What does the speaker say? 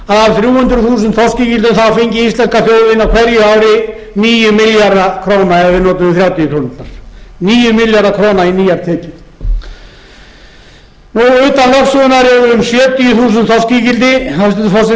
af þrjú hundruð þúsund þorskígildum fengi íslenska þjóðin á hverju ári níu milljarða króna ef við notuðum þrjátíu krónurnar níu milljarða króna í nýjar tekjur utan lögsögunnar eru um sjötíu þúsund þorskígildi hæstvirtur forseti